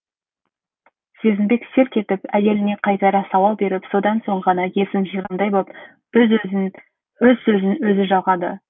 сезімбек селк етіп әйеліне қайтара сауал беріп содан соң ғана есін жиғандай боп өз сөзін өзі жалғады